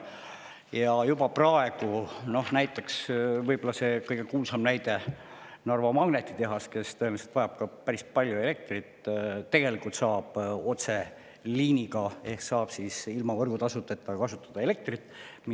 Ja juba praegu – see on võib-olla kõige kuulsam näide – Narva magnetitehas, kes tõenäoliselt vajab ka päris palju elektrit, tegelikult saab otseliiniga ehk ilma võrgutasudeta kasutada elektrit.